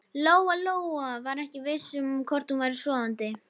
Lóa-Lóa var ekki viss um hvort hún væri sofandi.